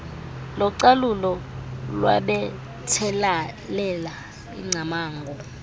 localulo lwabethelela ingcamango